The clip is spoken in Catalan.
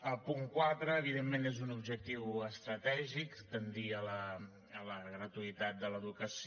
el punt quatre evidentment és un objectiu estratègic tendir a la gratuïtat de l’educació